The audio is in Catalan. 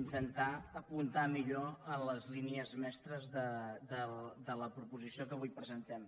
intentar apuntar millor en les línies mestres de la proposició que avui presentem